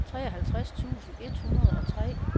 treoghalvtreds tusind et hundrede og tre